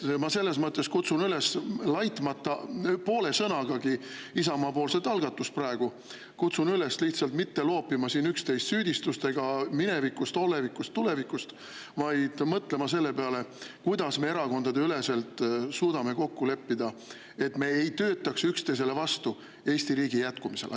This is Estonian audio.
Ma kutsun üles, laitmata poole sõnagagi Isamaa algatust, lihtsalt mitte loopima üksteist süüdistustega minevikust, olevikust, tulevikust, vaid mõtlema selle peale, kuidas me erakondadeüleselt suudame kokku leppida, et me ei töötaks vastu üksteisele ja Eesti riigi jätkumisele.